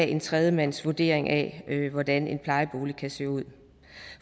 en tredjemandsvurdering af hvordan en plejebolig kan se ud